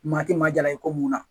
Maa ti maa jala ye ko mun na